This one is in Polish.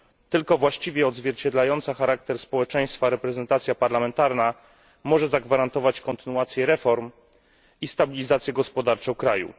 Tylko właściwie odzwierciedlająca charakter społeczeństwa reprezentacja parlamentarna może zagwarantować kontynuację reform i stabilizację gospodarczą kraju.